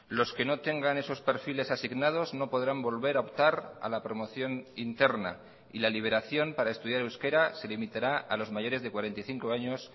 los que no tengan esos perfiles asignados no podrán volver a optar a la promoción interna y la liberación para estudiar euskera se limitará a los mayores de cuarenta y cinco años